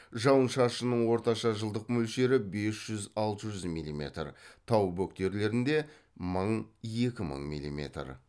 жауын шашынның орташа жылдық мөлшері бес жүз алты жүз милиметр тау бөктерлерінде мың екі мың милиметр